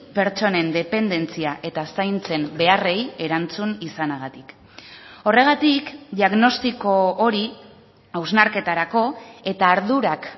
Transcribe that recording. pertsonen dependentzia eta zaintzen beharrei erantzun izanagatik horregatik diagnostiko hori hausnarketarako eta ardurak